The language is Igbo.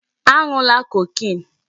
A ṅụla cocaine!